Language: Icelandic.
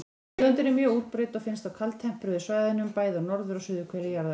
Tegundin er mjög útbreidd og finnst á kaldtempruðum svæðum, bæði á norður- og suðurhveli jarðar.